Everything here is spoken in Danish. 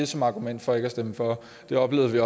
som argument for ikke at stemme for det oplevede vi